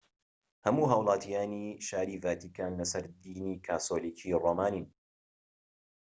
هەموو هاوڵاتیانی شاری ڤاتیکان لەسەر دینی کاسۆلیکی ڕۆمانین